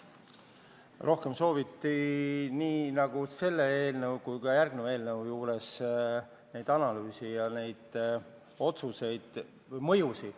Rohkem sooviti nii selle eelnõu kui ka järgmisena arutusele tuleva eelnõu sisu analüüse, nendes pakutavate otsuste mõju hindamist.